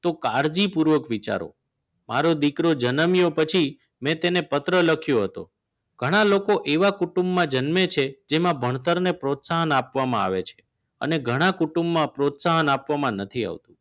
તો કાળજીપૂર્વક વિચારો મારો દીકરો જનમ્યો પછી મેં તેને પત્ર લખ્યો હતો ઘણા લોકો એવા કુટુંબમાં જન્મે છે જેમાં ભણતરને પ્રોત્સાહન આપવામાં આવે છે અને ઘણા કુટુંબમાં પ્રોત્સાહન આપવામાં નથી આવતું